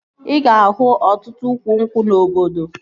Ị ga-ahụ ọtụtụ ukwu nkwụ na obodo